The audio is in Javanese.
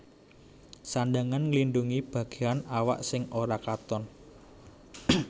Sandhangan nglindhungi bagéan awak sing ora katon